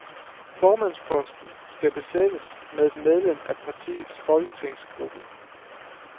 Formandsposten skal besættes med et medlem af partiets folketingsgruppe.